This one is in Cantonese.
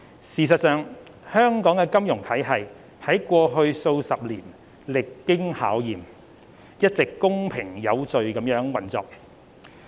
事實上，香港的金融體系在過去數十年歷經考驗，一直公平有序地運作。